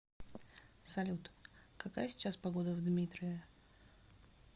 салют какая сейчас погода в дмитрове